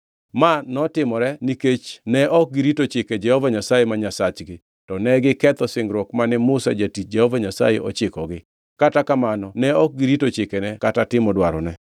Ma notimore nikech ne ok girito chike Jehova Nyasaye ma Nyasachgi, to negiketho singruok mane Musa jatich Jehova Nyasaye ochikogi. Kata kamano ne ok girito chikene kata timo dwarone.